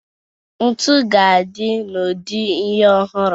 Ntu ga-adị n'ụdị ihe ọhụrụ.